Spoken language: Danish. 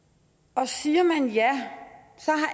og siger man ja